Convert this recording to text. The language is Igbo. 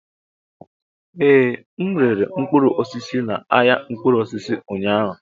Ee, m rere mkpụrụ osisi na ahịa mkpụrụ osisi ụnyaahụ.